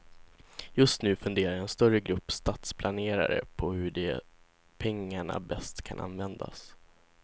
Just nu funderar en större grupp stadsplanerare på hur de pengarna bäst kan användas.